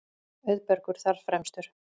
Auðbergur þar fremstur.